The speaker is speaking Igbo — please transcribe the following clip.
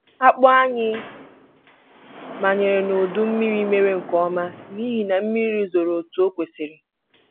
Akpụ anyị manyere n'udu mmiri mere nke ọma n'ihi na mmiri zoro otu o kwesịrị